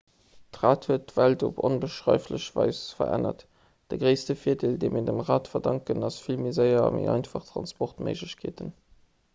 d'rad huet d'welt op onbeschreiflech weis verännert de gréisste virdeel dee mir dem rad verdanken ass vill méi séier a méi einfach transportméiglechkeeten